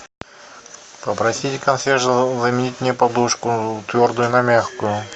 попросить консьержа заменить мне подушку твердую на мягкую